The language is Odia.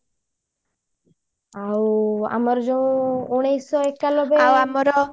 ଆଉ ଆମର ଯୋଉ ଉଣେଇଶିଶହ ଏକାଲବେ